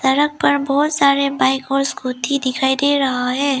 सड़क पर बहोत सारे बाइक और स्कूटी दिखाई दे रहा है।